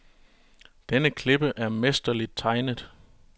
Denne klippe er mesterligt tegnet.